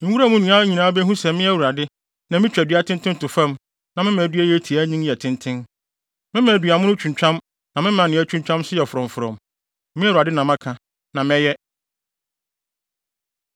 Nwura mu nnua nyinaa behu sɛ me Awurade, na mitwa dua tenten to fam na mema dua a ɛyɛ tiaa nyin yɛ tenten. Mema duamono twintwam na mema nea atwintwam nso yɛ frɔmfrɔm. “ ‘Me Awurade na maka, na mɛyɛ.’ ”